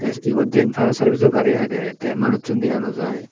tes eyot diyan fire survice jo gari agey te manuchun dega no jai.